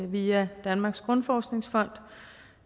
via danmarks grundforskningsfond